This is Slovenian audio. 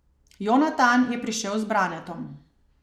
Jonatan je prišel z Branetom.